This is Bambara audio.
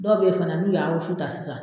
Dɔw bɛ ye fana n'u y'a wusu tan sisan